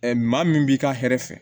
maa min b'i ka hɛrɛ fɛ